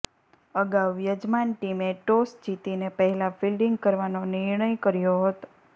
અગાઉ યજમાન ટીમે ટોસ જીતીને પહેલા ફિલ્ડિંગ કરવાનો નિર્ણય કર્યો હતો